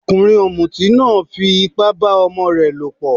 Ọkùnrin ọ̀mùtí náà fí ipá bá ọmọ rẹ lọ̀pọ̀.